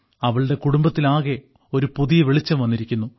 അവളുടെ കുടുംബത്തിലാകെ ഒരു പുതിയ വെളിച്ചം വന്നിരിക്കുന്നു